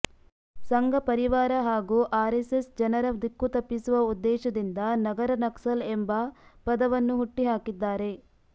ಸಂಘಪರಿವಾರ ಹಾಗೂ ಆರೆಸ್ಸೆಸ್ ಜನರ ದಿಕ್ಕು ತಪ್ಪಿಸುವ ಉದ್ದೇಶದಿಂದ ನಗರ ನಕ್ಸಲ್ ಎಂಬ ಪದವನ್ನು ಹುಟ್ಟಿ ಹಾಕಿದ್ದಾರೆ